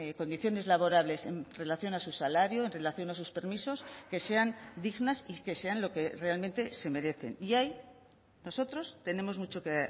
condiciones laborales en relación a su salario en relación a sus permisos que sean dignas y que sean lo que realmente se merecen y ahí nosotros tenemos mucho que